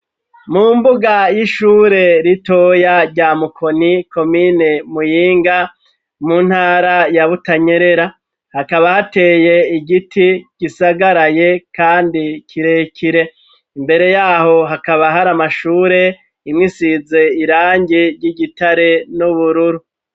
Mu mbuga y'ishure ritoya rya mukoni komine muyinga mu ntara ya butanyerera hakaba hateye igiti gisagaraye kandi kirekire ,imbere yaho hakaba har’amashure imwe isize irangi ry'igitare n'ubururu.